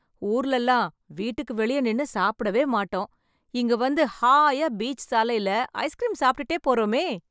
ஊர்லல்லாம் வீட்டுக்கு வெளியே நின்னு சாப்படவேமாட்டோம்... இங்க வந்து, ஹாய்யா, பீச் சாலைல, ஐஸ்க்ரீம் சாப்ட்டுட்டே போறோமே...